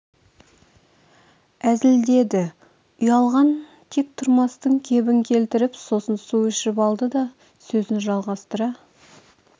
әзілдеді ұялған тек тұрмастың кебін келтіріп сосын су ішіп алды да сөзін жалғастыра